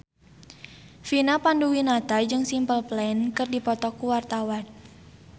Vina Panduwinata jeung Simple Plan keur dipoto ku wartawan